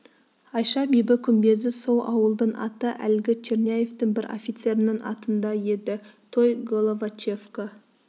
айша бибі күмбезі сол ауылдың аты әлгі черняевтің бір офицерінің атында еді той головачевка